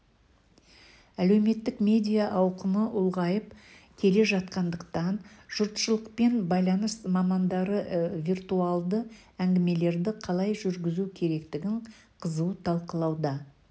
әлеуметтік медиа ауқымы ұлғайып келе жатқандықтан жұртшылықпен байланыс мамандары виртуалды әңгімелерді қалай жүргізу керектігін қызу талқылауда